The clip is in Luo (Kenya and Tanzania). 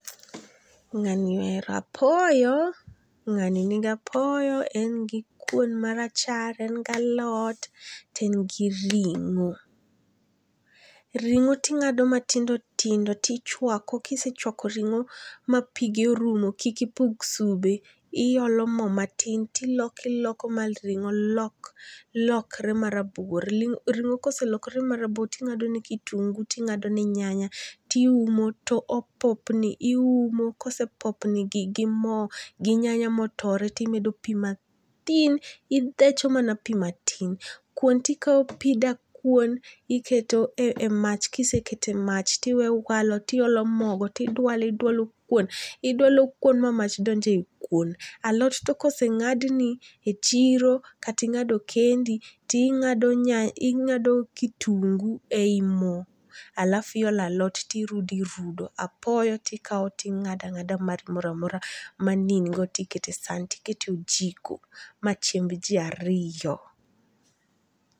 Nga'ni ohero apoyo, nga'ni nigi apoyo, en gi kuon marachar en gi alot to en gi ringo', ringo ti inga'do matindo tindo tichwako kisechwaki ringo' ma pige orumo kik ipuk sube, iyolo mo matin tiloko iloko ma ringo' lokre marabuor, ringo' koselokre marabuor tingadone kitungu tingadone nyanya tiumo to opopni, tiumo kose popni gi mo gi nyanya motore timedo pi matin ithecho mana pi matin, kuon tikao pi dakuon tiketo mach kasto kisekete mach tiweye owalo tiweyo mogo tidwale idwalo kuom, idwalo kuono ma mach donje kuon, alot to kosenga'dni e chiro kata ingado kendi ti ingado nyanya ingado kitungu e yie mo alafu iolo alot tirudo irudorudo apoyo tikawo tinga'do angada mar moramora mani ingo tikete sahan tikete ojiko ma chiemb ji ariyo.